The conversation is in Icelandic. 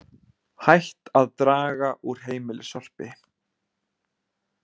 Hætt að draga úr heimilissorpi